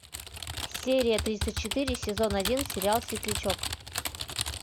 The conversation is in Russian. серия тридцать четыре сезон один сериал светлячок